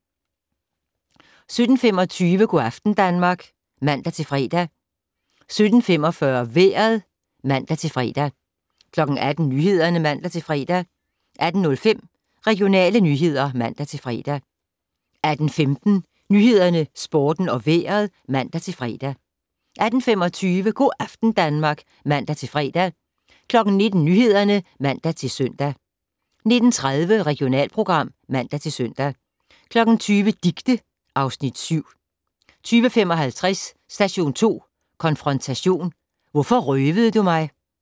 17:25: Go' aften Danmark (man-fre) 17:45: Vejret (man-fre) 18:00: Nyhederne (man-fre) 18:05: Regionale nyheder (man-fre) 18:15: Nyhederne, Sporten og Vejret (man-fre) 18:25: Go' aften Danmark (man-fre) 19:00: Nyhederne (man-søn) 19:30: Regionalprogram (man-søn) 20:00: Dicte (Afs. 7) 20:55: Station 2 konfrontation: Hvorfor røvede du mig?